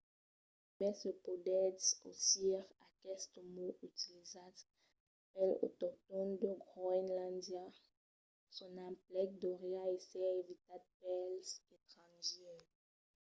e mai se podètz ausir aqueste mot utilizat pels autoctòns de groenlàndia son emplec deuriá èsser evitat pels estrangièrs